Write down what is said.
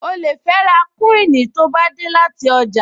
O lè fẹ́ ra kúíìnì tó bá dé láti ọjà